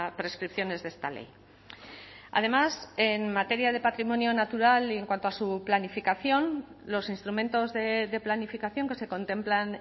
prescripciones de esta ley además en materia de patrimonio natural y en cuanto a su planificación los instrumentos de planificación que se contemplan